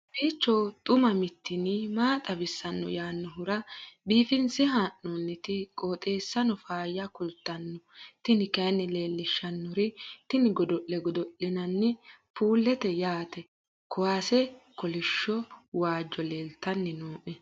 kowiicho xuma mtini maa xawissanno yaannohura biifinse haa'noonniti qooxeessano faayya kultanno tini kayi leellishshannori tini godo'le godo'linanni puuleeti yaate kuwase kolishsho waajjo leeltanni noe